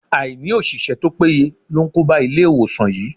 Àìní òṣìṣẹ́ to péye ló ń kóba Ilé-ìwòsàn yìí.